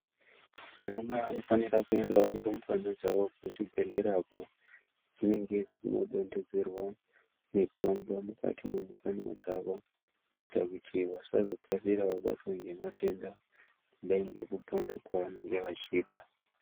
Anamai vanofanira kuendawo nerumbwana dzavo kuzvibhedhlera uko dzinenge dzichinodondedzerwa mitombo mukati memukanwa dzavo kuitira kuti vasazokasira vabatwa ngematenda kudai ngekupona kwavanenge vachiita.